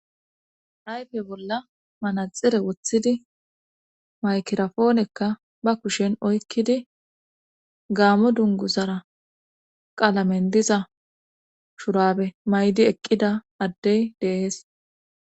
aype bolla manaxire wothidi maykerafoonekka ba kushen oykkidi gaammo dungu zara qalamen diza shurabe maydi eqqida addey deees